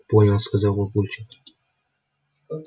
понял сказал папульчик